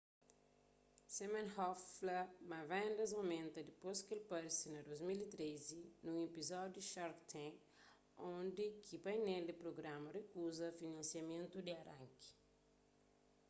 siminoff fla ma vendas aumenta dipôs ki el parse na 2013 nun epizódiu di shark tank undi ki painel di prugrama rikuza finansiamentu di aranki